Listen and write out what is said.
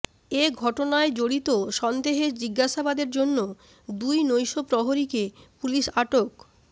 এ ঘটনায় জড়িত সন্দেহে জিজ্ঞাসাবাদের জন্য দুই নৈশ প্রহরীকে পুলিশ আটক